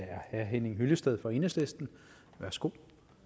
er herre henning hyllested fra enhedslisten værsgo